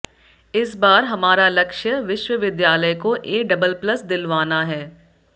इस बार हमारा लक्ष्य विश्वविद्यालय को ए डबल प्लस दिलवाना है